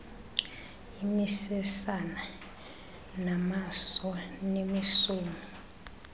imisesane namaso nemisomi